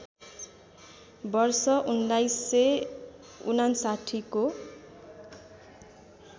वर्ष १९५९ को